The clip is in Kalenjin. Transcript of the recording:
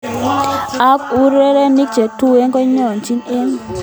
Ako urerenik che tuen kokokitakchin ke icheget eng oreni, eng sait age tugul kokirogen mososiek.